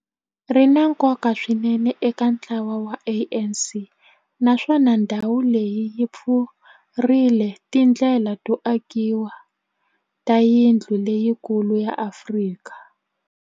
ri na nkoka swinene eka ntlawa wa ANC, naswona ndhawu leyi yi pfurile tindlela to akiwa ka yindlu leyikulu ya Afrika